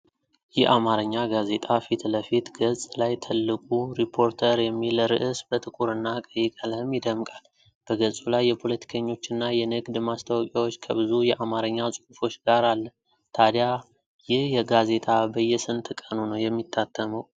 የአማርኛ ጋዜጣ ፊት ለፊት ገጽ ላይ ትልቁ "ሪፖርተር" የሚል ርዕስ በጥቁርና ቀይ ቀለም ይደምቃል። በገጹ ላይ የፖለቲከኞችና የንግድ ማስታወቂያዎች፣ ከብዙ የአማርኛ ጽሑፎች ጋር አለ። ታዲያ ይህ ጋዜጣ በየስንት ቀኑ ነው የሚታተመው?